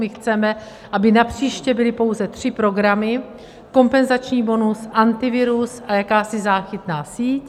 My chceme, aby napříště byly pouze tři programy - kompenzační bonus, Antivirus a jakási záchytná síť.